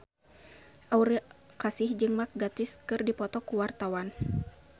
Aura Kasih jeung Mark Gatiss keur dipoto ku wartawan